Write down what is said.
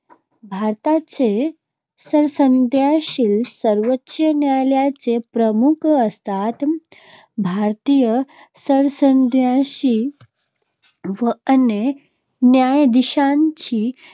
भारताचे सरन्यायाधीश सर्वोच्च न्यायालयाचे प्रमुख असतात. भारताच्या सरन्यायाधीशांची व अन्य न्यायाधीशांची